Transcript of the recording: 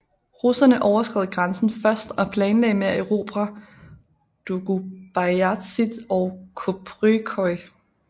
Russerne overskred grænsen først og planlagde med at erobre Doğubeyazıt og Köprüköy